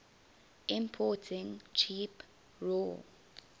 importing cheap raw